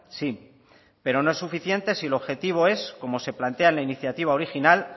sí pero no es suficiente si el objetivo es como se plantea en la iniciativa original